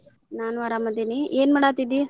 ನಾನು ಅರಾಮ್ ಅದಿನಿ ಏನ ಮಾಡಾತಿದ್ದಿ?